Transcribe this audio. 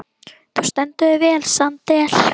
Þú stendur þig vel, Sandel!